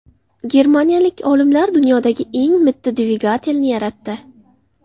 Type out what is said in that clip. Germaniyalik olimlar dunyodagi eng mitti dvigatelni yaratdi.